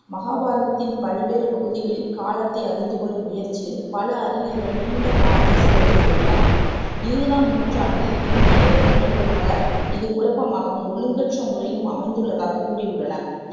மகாபாரதத்தின் பல்வேறு பகுதிகளில் காலத்தை அறிந்துகொள்ளும் முயற்சியில் பல அறிஞர்கள் நீண்ட காலத்தைச் செலவு செய்துள்ளனர் இருவதாம் நூற்றாண்டின் இந்தியவள்ளுனர்கள் பலர் இது குழப்பமாகவும், ஒழுங்கற்ற முறையிலும் அமைந்துள்ளதாகக் கூறியுள்ளனர்